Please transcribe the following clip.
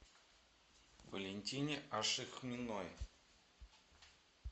валентине ашихминой